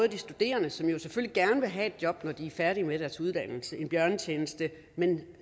de studerende som jo selvfølgelig gerne vil have et job når de er færdige med deres uddannelse en bjørnetjeneste